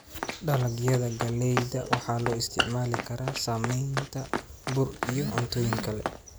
Dalagyada galleyda waxaa loo isticmaali karaa sameynta bur iyo cuntooyin kale.